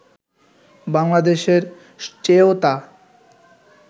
বাংলাদেশের চেয়েও তা